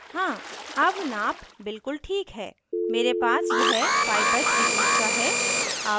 हाँ अब नाप बिल्कुल ठीक है मेरे पास यह 5 बाइ 3 इंच का है